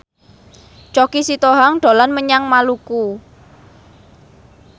Choky Sitohang dolan menyang Maluku